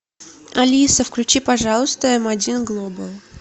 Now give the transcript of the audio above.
алиса включи пожалуйста м один глобал